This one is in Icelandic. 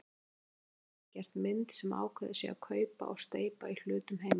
Einarsson hafi gert mynd sem ákveðið sé að kaupa og steypa í hlutum heima.